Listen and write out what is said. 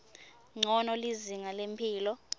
ncono lizinga lemphilo